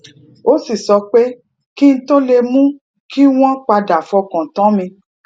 ó sì sọ pé kí n tó lè mú kí wón padà fọkàn tán mi